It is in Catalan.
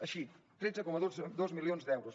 així tretze coma dos milions d’euros